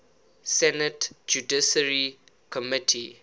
senate judiciary committee